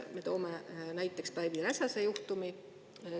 Ma toon näiteks Päivi Räsase juhtumi.